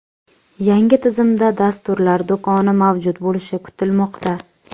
Yangi tizimda dasturlar do‘koni mavjud bo‘lishi kutilmoqda.